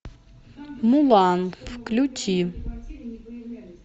мулан включи